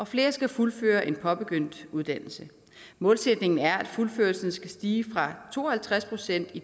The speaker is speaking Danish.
flere skal fuldføre en påbegyndt uddannelse målsætningen er at fuldførelsen skal stige fra to og halvtreds procent i